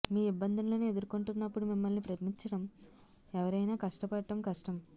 మీ ఇబ్బందులను ఎదుర్కొంటున్నప్పుడు మిమ్మల్ని ప్రేమించడం ఎవరైనా కష్టపడటం కష్టం